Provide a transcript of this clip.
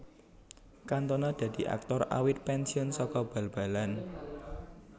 Cantona dadi aktor awit pensiun saka bal balan